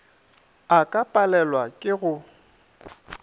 a ka palelwa ke go